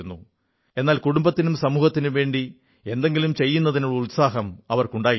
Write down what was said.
എന്നാൽ കുടുംബത്തിനും സമൂഹത്തിനും വേണ്ടി എന്തെങ്കിലും ചെയ്യുന്നതിനുള്ള ഉത്സാഹം ഇവർക്കുണ്ടായിരുന്നു